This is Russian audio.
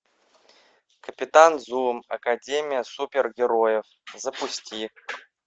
капитан зум академия супергероев запусти